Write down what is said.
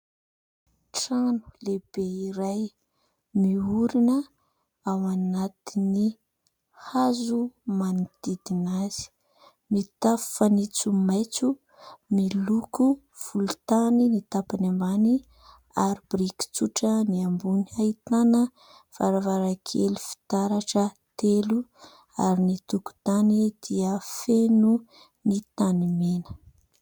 Trano lehibe iray miorina ao anatin'ny hazo manodidina azy mitafo fanitso maitso miloko volontany ny tapany ambany ary briky tsotra ny ambony. Ahitana varavarankely fitaratra telo ary ny tokotany dia feno ny tany mena.